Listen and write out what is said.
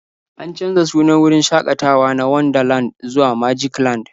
An canza sunan wurin shakatawa na Wonderland zuwa Magicland.